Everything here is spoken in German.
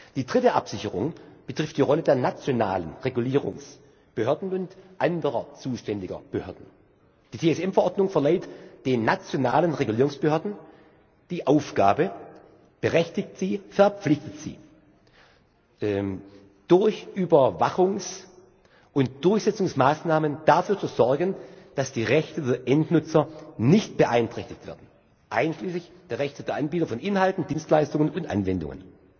Die dritte Absicherung betrifft die Rolle der nationalen Regulierungsbehörden und anderer zuständiger Behörden. Die TSM Verordnung verleiht den nationalen Regulierungsbehörden die Aufgabe berechtigt sie, verpflichtet sie durch Überwachungs und Durchsetzungsmaßnahmen dafür zu sorgen, dass die Rechte der Endnutzer nicht beeinträchtigt werden, einschließlich der Rechte der Anbieter von Inhalten, Dienstleistungen und Anwendungen.